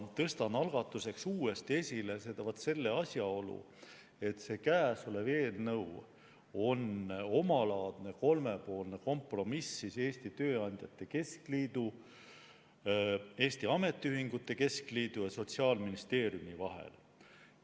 Tõstan algatuseks uuesti esile vaat selle asjaolu, et käesolev eelnõu on omalaadne kolmepoolne kompromiss Eesti Tööandjate Keskliidu, Eesti Ametiühingute Keskliidu ja Sotsiaalministeeriumi vahel.